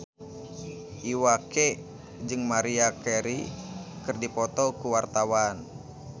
Iwa K jeung Maria Carey keur dipoto ku wartawan